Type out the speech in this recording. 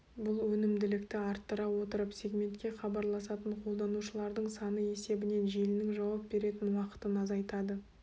бұл өнімділікті арттыра отырып сегментке хабарласатын қолданушылардың саны есебінен желінің жауап беретін уақытын азайтады